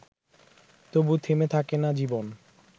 তবু থেমে থাকে না জীবন